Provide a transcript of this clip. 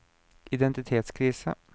identitetskrise